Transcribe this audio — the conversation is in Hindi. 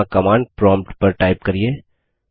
यहाँ कमांड प्रोम्प्ट पर टाइप करिये